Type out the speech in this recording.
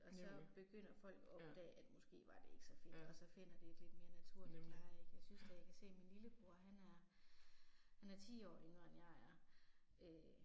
Og så begynder folk at opdage at måske var det ikke så fedt og så finder det et lidt mere naturligt leje ik. Jeg synes da jeg kan se min lillebror, han er, han er 10 år yngre end jeg er øh